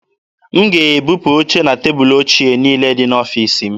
M ga-ebupu oche na tebụlụ ochie niile dị n'ọfiisi m.